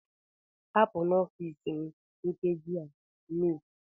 Hapụ n'ọfịs m nkeji a, Miss!